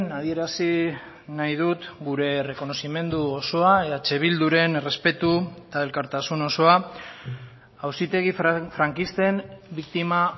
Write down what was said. adierazi nahi dut gure errekonozimendu osoa eh bilduren errespetu eta elkartasun osoa auzitegi frankisten biktima